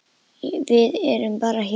Við erum bara hjól.